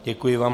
Děkuji vám.